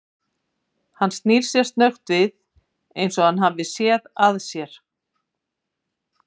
Hann snýr sér snöggt við eins og hann hafi séð að sér.